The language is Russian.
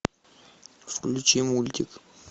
включи мультик